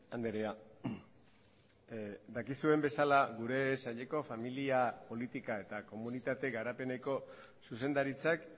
andrea dakizuen bezala gure saileko familia politika eta komunitate garapeneko zuzendaritzak